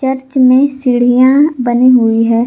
Church में सीढ़ियां बनी हुई है।